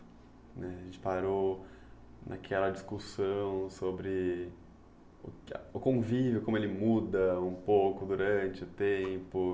A gente parou naquela discussão sobre o convívio, como ele muda um pouco durante o tempo.